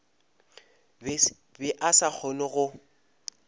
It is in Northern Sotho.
be a sa kgone go